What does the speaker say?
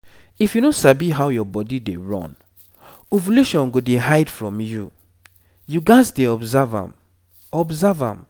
if you no sabi how your body dey run ovulation go dey hide from you. you gats dey observe am observe am